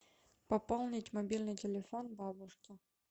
пополнить мобильный телефон бабушки